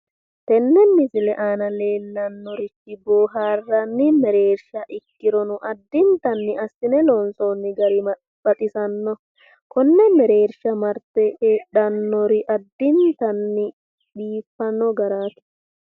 Tenne misile aana leellannorichi boohaarranni mereersha ikkirono addintanni assine loonsoonni gari baxisanno. kinne mereersha marte heedhannori addintanni biiffanno garaati.